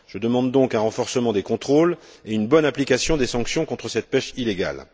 Je demande donc un renforcement des contrôles et une bonne application des sanctions contre cette pêche illégale.